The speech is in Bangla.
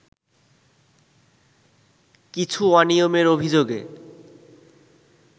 কিছু অনিয়মের অভিযোগে